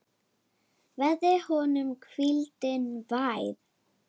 Verði honum hvíldin vær.